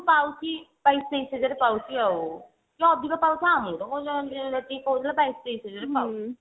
ପାଉଛି ବାଇଶି ତେଇଶି ହଜାରେ ପାଉଛି ଆଉ କି ଅଧିକ ପାଉଥିବ ଆମକୁ କଣ ଅଛି କହୁଥିଲା ବାଇଶି ତେଇଶି ହଜାରେ ପାଉଛି